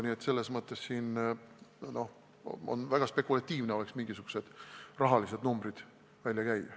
Nii et selles mõttes oleks väga spekulatiivne mingisuguseid rahalisi numbreid välja käia.